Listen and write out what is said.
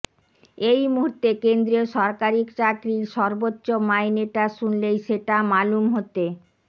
এই মূহুর্তে কেন্দ্রীয় সরকারি চাকরির সর্বোচ্চ মাইনেটা শুনলেই সেটা মালুম হতে